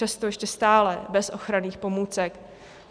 Často ještě stále bez ochranných pomůcek.